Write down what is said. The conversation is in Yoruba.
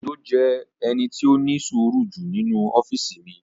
Òjó jẹ́ ẹni tí ó ní sùúrù jù nínu ọ́físì mi